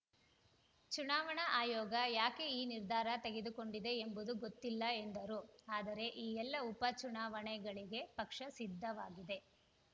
ಚುನಾವಣಾ ಆಯೋಗ ಯಾಕೆ ಈ ನಿರ್ಧಾರ ತೆಗೆದುಕೊಂಡಿದೆ ಎಂಬುದು ಗೊತ್ತಿಲ್ಲ ಎಂದರು ಆದರೆ ಈ ಎಲ್ಲ ಉಪ ಚುನಾವಣೆಗೆ ಪಕ್ಷ ಸಿದ್ಧವಾಗಿದೆ